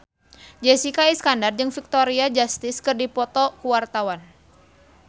Jessica Iskandar jeung Victoria Justice keur dipoto ku wartawan